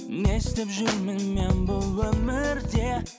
не істеп жүрмін мен бұл өмірде